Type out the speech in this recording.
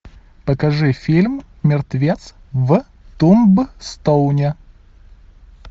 покажи фильм мертвец в тумбстоуне